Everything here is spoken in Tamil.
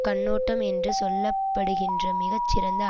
கண்ணோட்டம் என்று சொல்ல படுகின்ற மிக சிறந்த